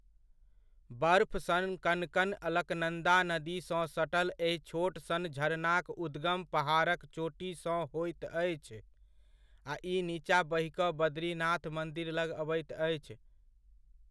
बर्फ सन कनकन अलकनन्दा नदीसँ सटल एहि छोट सन झरनाक उद्गम पहाड़क चोटीसँ होइत अछि आ ई नीचा बहि कऽ बद्रीनाथ मन्दिर लग अबैत अछि।